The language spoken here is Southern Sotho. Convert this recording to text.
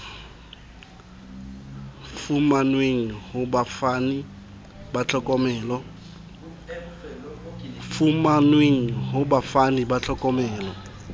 fumanweng ho bafani ba tlhokomelo